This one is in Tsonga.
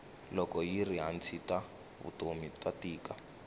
loko yiri hansi ta vutomi ta tika